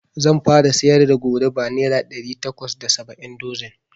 Zan fara siyar da goruba nera ɗari takwas da saba'in dozin